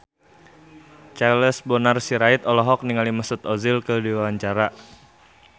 Charles Bonar Sirait olohok ningali Mesut Ozil keur diwawancara